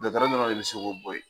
Dɔtɔrɔ dɔrɔn de be se k'o bo yen